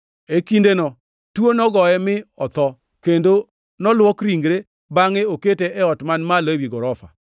E kindeno tuo nogoye mi otho, kendo noluok ringre bangʼe okete e ot man malo ewi gorofa.